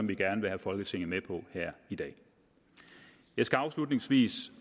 vi gerne vil have folketinget med på her i dag jeg skal afslutningsvis